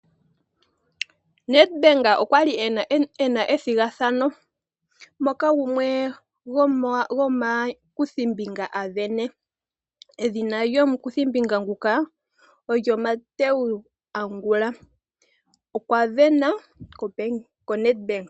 Nedbank okwali ena ethigathano moka gumwe gomakuthimbinga a sindana. Edhina lyomukuthimbinga nguka olyo Mateu Angula okwa sindana ko Nedbank.